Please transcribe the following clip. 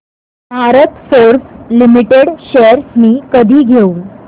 Bharat Forge Limited shares मी कधी घेऊ